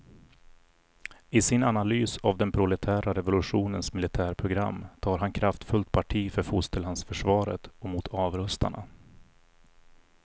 I sin analys av den proletära revolutionens militärprogram tar han kraftfullt parti för fosterlandsförsvaret och mot avrustarna.